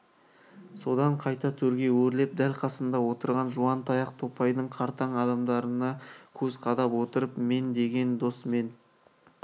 содан қайта төрге өрлеп дәл қасында отырған жуан таяқ топайдың қартаң адамдарына көз қадап отырып мен деген дос мен